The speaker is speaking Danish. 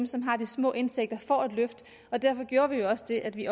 som har små indtægter får et løft derfor gjorde vi jo også det at vi